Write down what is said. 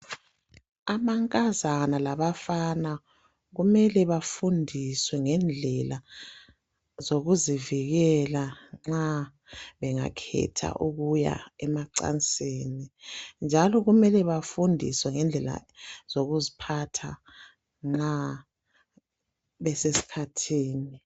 amankazana labafana kumele bafundiswe ngezindlela zokuzivikela nxa bengakhetha ukuya emacansini njalo kumele bafundiswe ngendlela zokuziphatha nxa besesikhathini